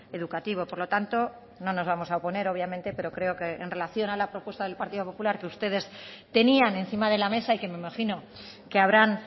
educativo por lo tanto no nos vamos a oponer obviamente pero creo que en relación a la propuesta del partido popular que ustedes tenían encima de la mesa y que me imagino que habrán